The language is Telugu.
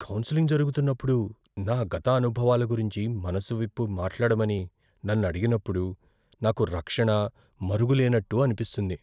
కౌన్సెలింగ్ జరుగుతున్నప్పుడు నా గత అనుభవాల గురించి మనసు విప్పి మాట్లాడమని నన్ను అడిగినప్పుడు నాకు రక్షణ, మరుగు లేన్నట్టు అనిపిస్తుంది.